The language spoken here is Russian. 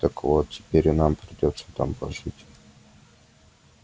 так вот теперь и нам придётся там пожить